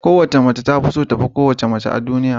ko wace mace tafiso tafi kowace mace a duniya